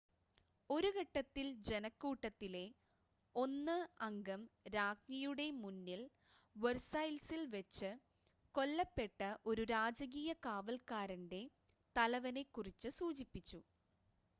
ഒരു ഘട്ടത്തിൽ ജനക്കൂട്ടത്തിലെ 1 അംഗം രാജ്ഞിയുടെ മുന്നിൽ വെർസൈൽസിൽ വെച്ച് കൊല്ലപ്പെട്ട ഒരു രാജകീയ കാവൽക്കാരൻ്റെ തലവനെ കുറിച്ച് സൂചിപ്പിച്ചു